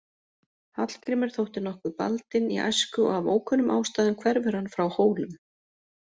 Hallgrímur þótti nokkuð baldinn í æsku og af ókunnum ástæðum hverfur hann frá Hólum.